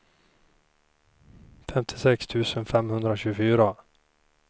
femtiosex tusen femhundratjugofyra